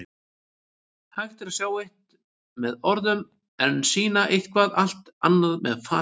Hægt er að tjá eitt með orðum en sýna eitthvað allt annað með fasi.